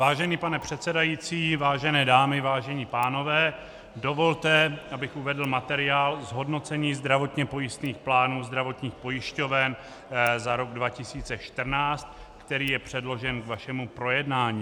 Vážený pane předsedající, vážené dámy, vážení pánové, dovolte, abych uvedl materiál zhodnocení zdravotně pojistných plánů zdravotních pojišťoven za rok 2014, který je předložen k vašemu projednání.